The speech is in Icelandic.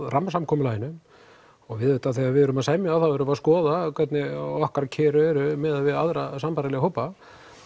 rammasamkomulaginu og við auðvitað þegar við erum að semja erum við að skoða hvernig okkar kjör eru miðað við aðra sambærilega hópa